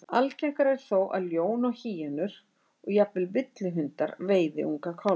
Algengara er þó að ljón og hýenur, og jafnvel villihundar, veiði unga kálfa.